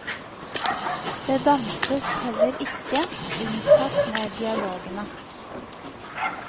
Det danses heller ikke, unntatt med dialogene.